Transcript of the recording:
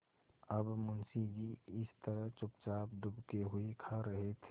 अब मुंशी जी इस तरह चुपचाप दुबके हुए खा रहे थे